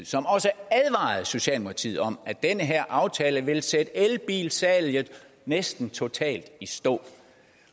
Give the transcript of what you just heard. som også advarede socialdemokratiet om at den her aftale ville sætte elbilsalget næsten totalt i stå